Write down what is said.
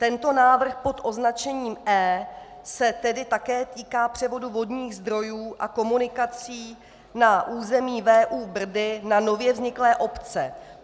Tento návrh pod označením E se tedy také týká převodu vodních zdrojů a komunikací na území VÚ Brdy na nově vzniklé obce.